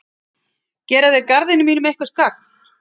Gera þeir garðinum mínum eitthvert gagn?